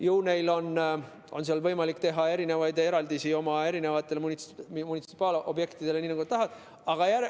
Ju neil on võimalik teha eraldusi oma munitsipaalobjektidele nii, nagu nad tahavad.